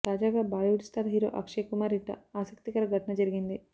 తాజాగా Bollywood star hero Akshay Kumar ఇంట ఆసక్తికర ఘటన జరిగింది